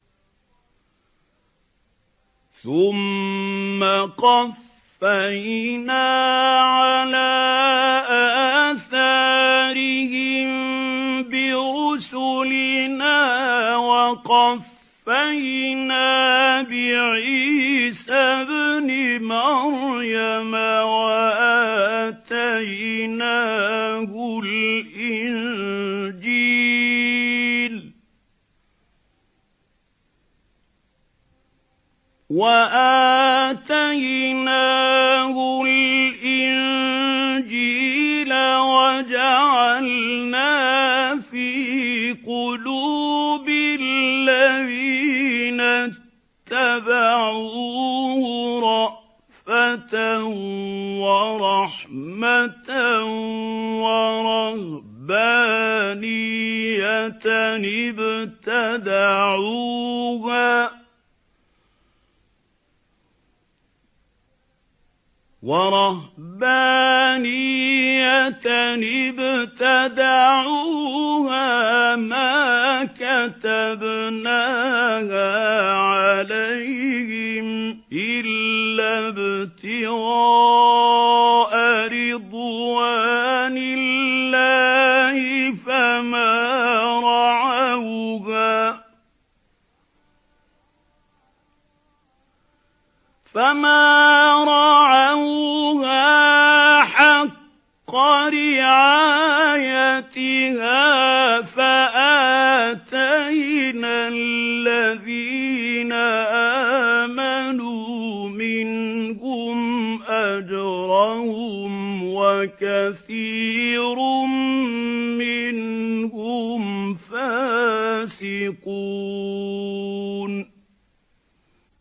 ثُمَّ قَفَّيْنَا عَلَىٰ آثَارِهِم بِرُسُلِنَا وَقَفَّيْنَا بِعِيسَى ابْنِ مَرْيَمَ وَآتَيْنَاهُ الْإِنجِيلَ وَجَعَلْنَا فِي قُلُوبِ الَّذِينَ اتَّبَعُوهُ رَأْفَةً وَرَحْمَةً وَرَهْبَانِيَّةً ابْتَدَعُوهَا مَا كَتَبْنَاهَا عَلَيْهِمْ إِلَّا ابْتِغَاءَ رِضْوَانِ اللَّهِ فَمَا رَعَوْهَا حَقَّ رِعَايَتِهَا ۖ فَآتَيْنَا الَّذِينَ آمَنُوا مِنْهُمْ أَجْرَهُمْ ۖ وَكَثِيرٌ مِّنْهُمْ فَاسِقُونَ